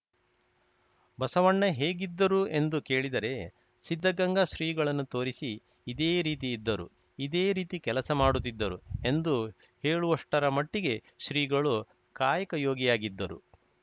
ಬಸವಣ್ಣ ಹೇಗಿದ್ದರು ಎಂದು ಕೇಳಿದರೆ ಸಿದ್ಧಗಂಗಾ ಶ್ರೀಗಳನ್ನು ತೋರಿಸಿ ಇದೇ ರೀತಿ ಇದ್ದರು ಇದೇ ರೀತಿ ಕೆಲಸ ಮಾಡುತ್ತಿದ್ದರು ಎಂದು ಹೇಳುವಷ್ಟರಮಟ್ಟಿಗೆ ಶ್ರೀಗಳು ಕಾಯಕಯೋಗಿಯಾಗಿದ್ದರು